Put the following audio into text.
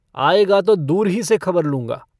आयेगा तो दूर ही से खबर लूँगा।